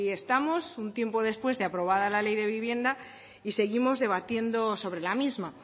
estamos un tiempo después de aprobada la ley de vivienda y seguimos debatiendo sobre la misma